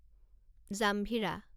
জাম্ভিৰা